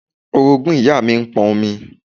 Orogún ìyá mi ń pọn omi